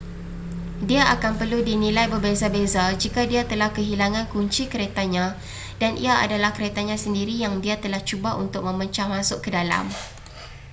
dia akan perlu dinilai berbeza-beza jika dia telah kehilangan kunci keretanya dan ia adalah keretanya sendiri yang dia telah cuba untuk memecah masuk ke dalam